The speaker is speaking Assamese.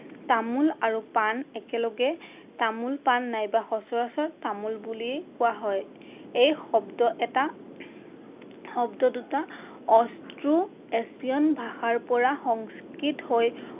তামোল আৰু পাণ একেলগে তামোল পাণ বা সচৰাচৰ তামোল বুলিয়েই কোৱা হয়। এই শব্দ এটা শব্দ দুটা অষ্ট্ৰো এছিয়ান ভাষাৰ পৰা সংস্কৃত হৈ